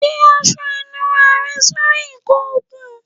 Gbe aṣọ ìnura rẹ sori ìkọ okun